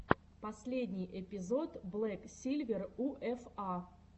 последний эпизод блэк сильвер у эф а